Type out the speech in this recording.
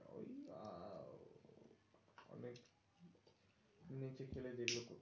এই ছেলে দেখলে তো,